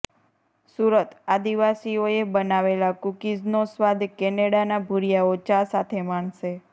સુરતઃ આદિવાસીઓએ બનાવેલા કૂકીઝનો સ્વાદ કેનેડાના ભૂરીયાઓ ચા સાથે માણશે